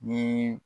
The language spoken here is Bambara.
Ni